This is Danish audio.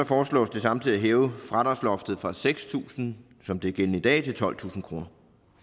foreslås det samtidig at hæve fradragsloftet fra seks tusind som det er gældende i dag til tolvtusind kroner